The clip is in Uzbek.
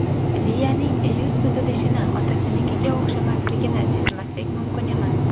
Liyaning yuz tuzilishini otasinikiga o‘xshashligini sezmaslik mumkin emas.